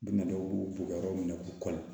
Dumɛn dɔw b'u bɔgɔ minɛ k'u kɔli